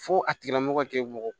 Fo a tigila mɔgɔ kɛ mɔgɔ